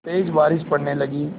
तेज़ बारिश पड़ने लगी